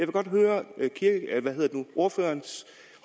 godt høre ordførerens